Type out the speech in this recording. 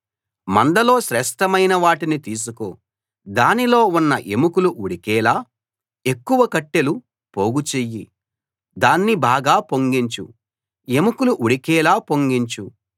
మందలో శ్రేష్ఠమైన వాటిని తీసికో దానిలో ఉన్న ఎముకలు ఉడికేలా ఎక్కువ కట్టెలు పోగు చెయ్యి దాన్ని బాగా పొంగించు ఎముకలు ఉడికేలా పొంగించు